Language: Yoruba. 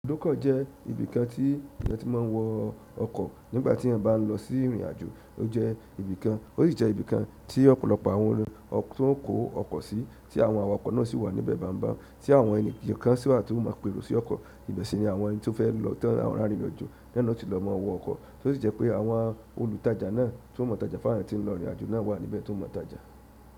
Olúkọ́ jẹ́ ibìkan tí ènìyàn tí máa ń wọ ọkọ̀ nígbà tí èya bá ń lọ sí ìrìnàjò, ó jẹ́ ibìkan, ó sì jẹ́ ibìkan tí ọ̀pọ̀lọpọ̀ àwọn ẹni tí ó ń kó ọkọ̀ sí tí àwọn awakọ̀ náà sì wà níbẹ̀ báńbań, tí àwọn ẹni kankan sì wà tó máa ń pèrò sí ọkọ̀, ibẹ̀ sì ni àwọn ẹni tí ó fẹ́ lọ tán àwọn arìnrìn àjò náà tí lọ máa wọ ọkọ̀, tó sì jẹ́ pé àwọn olùtajà náà tí wọ́n mọ̀ tàjà fún àwọn ẹni tí ń lọ ìrìnàjò náà wà níbẹ̀ tó ń mọ̀ tàjà.